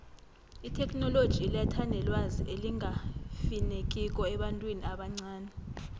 itheknoloji iletha nelwazi elingafinekiko ebantwini abancani